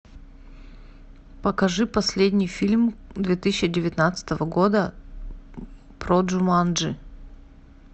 покажи последний фильм две тысячи девятнадцатого года про джуманджи